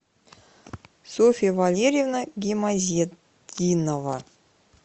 софья валерьевна гимазетдинова